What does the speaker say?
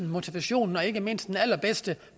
motivationen og ikke mindst den allerbedste